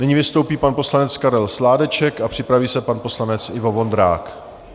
Nyní vystoupí pan poslanec Karel Sládeček a připraví se pan poslanec Ivo Vondrák.